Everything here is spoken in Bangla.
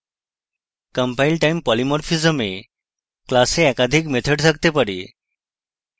compile time polymorphism এ class একাধিক method থাকতে পারে